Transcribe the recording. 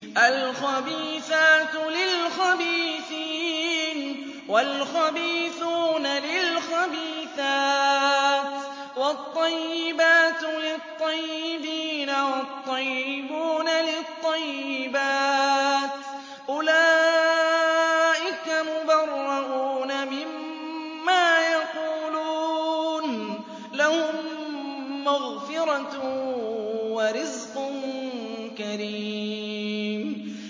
الْخَبِيثَاتُ لِلْخَبِيثِينَ وَالْخَبِيثُونَ لِلْخَبِيثَاتِ ۖ وَالطَّيِّبَاتُ لِلطَّيِّبِينَ وَالطَّيِّبُونَ لِلطَّيِّبَاتِ ۚ أُولَٰئِكَ مُبَرَّءُونَ مِمَّا يَقُولُونَ ۖ لَهُم مَّغْفِرَةٌ وَرِزْقٌ كَرِيمٌ